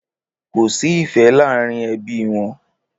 Kòsí ìfẹ làárin ẹbi wọn.